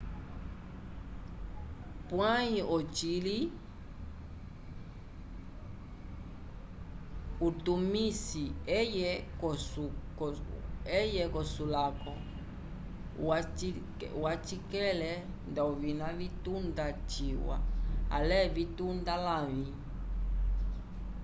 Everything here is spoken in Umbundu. pwãyi ocili utumisi eye k'okusulako uwacikele nda ovina vitunda ciwa ale vitunda lavĩ